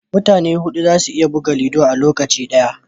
Mutane hudu za su iya buga ludo a lokaci guda